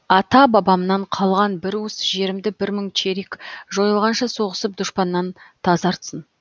ата бабамнан қалған бір уыс жерімді бір мың черик жойылғанша соғысып дұшпаннан тазартсын